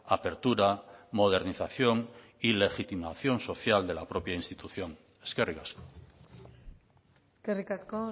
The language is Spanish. apertura modernización y legitimación social de la propia institución eskerrik asko eskerrik asko